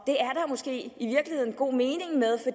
måske i virkeligheden god mening